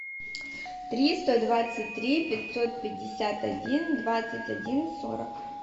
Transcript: триста двадцать три пятьсот пятьдесят один двадцать один сорок